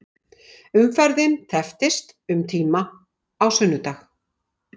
Umferðin tepptist um tíma á sunnudag